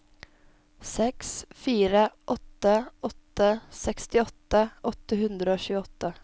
seks fire åtte åtte sekstiåtte åtte hundre og tjueåtte